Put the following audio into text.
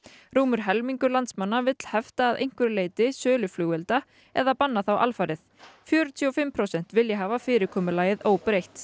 rúmur helmingur landsmanna vill hefta að einhverju leyti sölu flugelda eða banna þá alfarið fjörutíu og fimm prósent vilja hafa fyrirkomulagið óbreytt